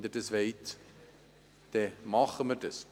Wenn Sie das wollen, machen wir das.